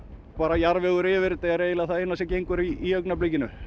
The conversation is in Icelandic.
jarðvegur yfir þetta er það eina sem gengur í augnablikinu